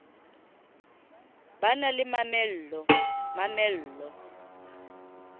ba na le mamello mamello